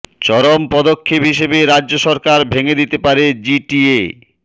চরম পদক্ষেপ হিসেবে রাজ্য সরকার ভেঙে দিতে পারে জিটিএ